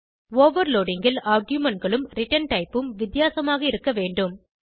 overloading ல் argumentகளும் return type ம் வித்தியாசமாக இருக்கவேண்டும்